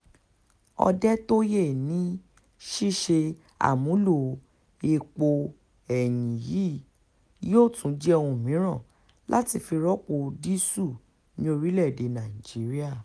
òdetọ́yé ní ṣíṣe àmúlò èèpo ẹ̀yìn yìí yóò tún jẹ́ ohun mìíràn láti fi rọ́pò dììsù ní orílẹ̀-èdè nàìjíríà